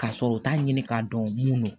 Ka sɔrɔ u t'a ɲini k'a dɔn mun do